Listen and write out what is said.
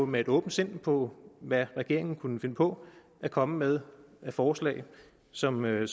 med et åbent sind på hvad regeringen kunne finde på at komme med af forslag som en